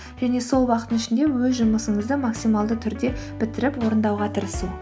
және сол уақыттың ішінде өз жұмысыңызды максималды түрде бітіріп орындауға тырысу